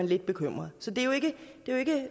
lidt bekymret så det